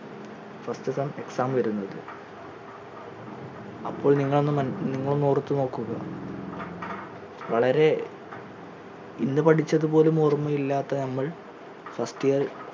first sem exam വരുന്നത് അപ്പോൾ നിങ്ങൾ ഒന്ന് മനസ് നിങ്ങൾ ഒന്ന് ഓർത്തു നോക്കു വളരെ ഇന്ന് പഠിച്ചത് പോലും ഓർമയില്ലാത്ത നമ്മൾ first year first sem exam